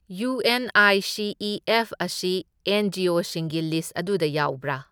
U N I C E F ꯑꯁꯤ N G O ꯁꯤꯡꯒꯤ ꯂꯤꯁ ꯑꯗꯨꯗ ꯌꯥꯎꯕ꯭ꯔꯥ?